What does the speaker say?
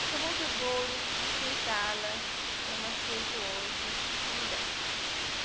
Mas foi muito duro aceitá-la como aceito hoje, como deve.